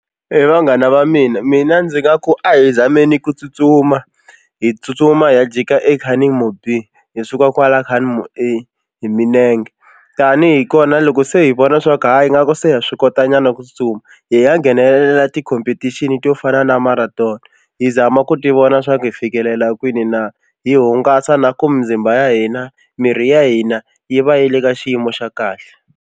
He vanghana va mina mina ndzi nga ku a hi zameleni ku tsutsuma hi tsutsuma hi ya jika eCunningmore B hi suka kwala Cunningmore A hi milenge tanihi kona loko se hi vona swa ku hayi nga ku se ha swi kotanyana ku tsutsuma hi ya nghenelela ti-competition to fana na marathon hi zama ku tivona swa ku hi fikelela kwini na hi hungasa na ku mizimba ya hina miri ya hina yi va yi le ka xiyimo xa kahle.